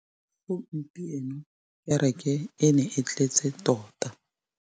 Gompieno kêrêkê e ne e tletse tota.